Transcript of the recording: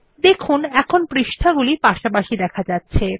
দেখুন এখন পৃষ্ঠা গুলি পাশাপাশি দেখা যাচ্ছে